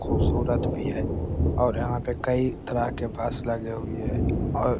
खूबसूरत भी है और यहां पे कई तरह के बस लगी हुई है और --